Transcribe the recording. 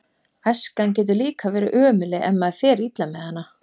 Æskan getur líka verið ömurleg ef maður fer illa með hana.